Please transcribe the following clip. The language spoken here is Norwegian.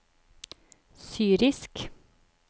syrisk